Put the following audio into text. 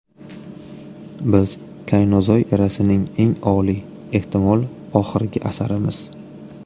Biz kaynozoy erasining eng oliy, ehtimol oxirgi asarimiz.